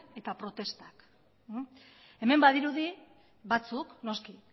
eta protestak hemen badirudi batzuk noski